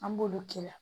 An b'olu k'ila